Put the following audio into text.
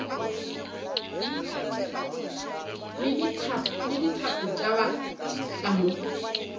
le dithapo ba tla mo